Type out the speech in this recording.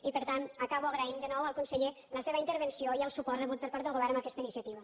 i per tant acabo agraint de nou al conseller la seva intervenció i el suport rebut per part del govern en aquesta iniciativa